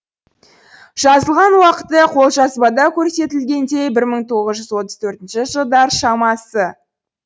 жазылған уақыты қолжазбада көрсетілгендей бір мың тоғыз жүз тыз төртінші жылдар шамасы